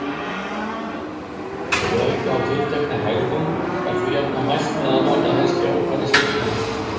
Ef auka á tiltekna hegðun er þó jafnan mælt með að nota helst jákvæða styrkingu.